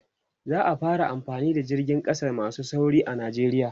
za'a fara amfani da jiragen ƙasa masu sauri a nijeriya